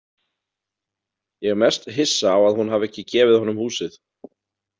Ég er mest hissa á að hún hafi ekki gefið honum húsið.